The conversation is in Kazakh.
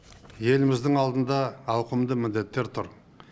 еліміздің алдында ауқымды міндеттер тұр